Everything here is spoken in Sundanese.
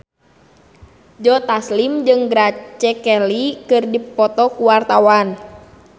Joe Taslim jeung Grace Kelly keur dipoto ku wartawan